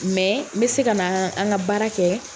n bɛ se ka na an ka baara kɛ.